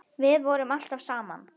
Við vorum alltaf saman.